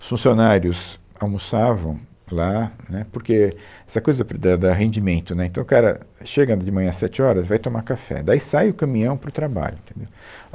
Os funcionários almoçavam lá, né, porque essa coisa fu, da da rendimento, né, então o cara chega de manhã às sete horas, vai tomar café, daí sai o caminhão para o trabalho, entendeu?